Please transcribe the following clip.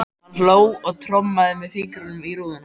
Hann hló og trommaði með fingrunum á rúðuna.